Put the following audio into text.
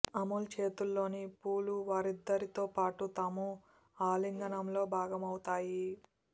అమోల్ చేతుల్లోని పూలు వారిద్దరితో పాటు తామూ ఆలింగనంలో భాగమవుతాయి